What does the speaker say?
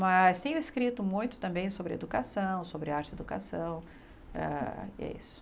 Mas tenho escrito muito também sobre educação, sobre arte e educação, ah e é isso.